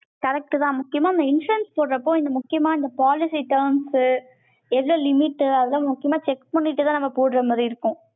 correct தான், முக்கியமா இந்த insurance போடுறப்போ, இந்த முக்கியமா, இந்த policy terms உ, எது limit உ அது எல்லாம், முக்கியமா check பண்ணிட்டுதான், நாங்க போடுற மாதிரி இருக்கும்.